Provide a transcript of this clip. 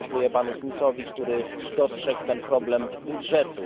Ja dziękuję panu Smithowi, który dostrzegł ten problem budżetu.